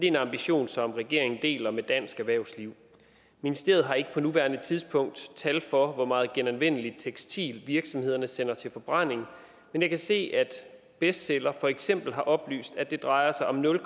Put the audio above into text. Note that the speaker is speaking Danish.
en ambition som regeringen deler med dansk erhvervsliv ministeriet har ikke på nuværende tidspunkt tal for hvor meget genanvendeligt tekstil virksomheder sender til forbrænding men jeg kan se at bestseller for eksempel har oplyst at det drejer sig om nul